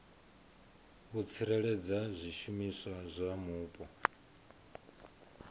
u tsireledza zwishumiswa zwa mupo